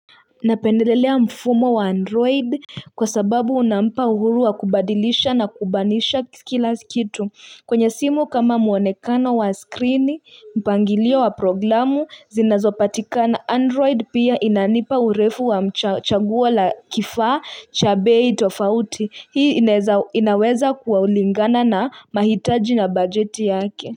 Napendelelea mfumo wa android kwa sababu unampa uhuru wa kubadilisha na kubanisha kila kitu kwenye simu kama mwonekano wa skrini mpangilio wa programu zinazopatikana Android pia inanipa urefu wa m chagua la kifaa cha bei tofauti Hii inaweza kuwa ulingana na mahitaji na bajeti yake.